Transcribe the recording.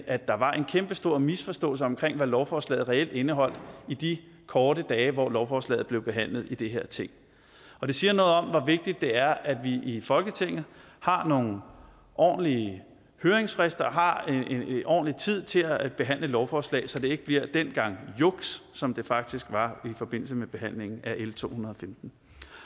at der var en kæmpestor misforståelse om hvad lovforslaget reelt indeholdt i de korte dage hvor lovforslaget blev behandlet i det her ting og det siger noget om hvor vigtigt det er at vi i folketinget har nogle ordentlige høringsfrister og har ordentlig tid til at behandle et lovforslag så det ikke bliver den gang juks som det faktisk var i forbindelse med behandlingen af l to hundrede og femten